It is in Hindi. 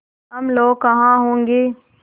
हम लोग कहाँ होंगे